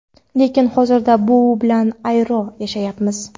Lekin hozirda u bilan ayro yashayapmiz.